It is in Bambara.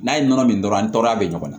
N'a ye nɔnɔ min dɔrɔn an tɔɔrɔya bɛ ɲɔgɔn na